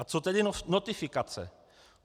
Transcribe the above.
A co tedy notifikace?